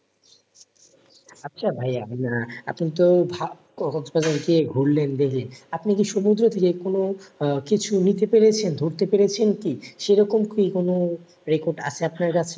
আচ্ছা ভাইয়া আহ এখন তো এই ঢা কক্সবাজারে গিয়ে ঘুরলেন দেখি আপনি কি সমুদ্রের যেকোনো আহ কিছু নিতে পেরেছেন ধরতে পেরেছেন কি? সেরকম কি কোন record আছে আপনার কাছে?